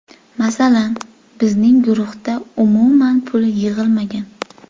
Masalan, bizning guruhda umuman pul yig‘ilmagan.